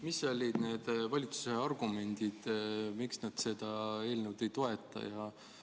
Mis olid valitsuse argumendid, miks nad seda eelnõu ei toeta?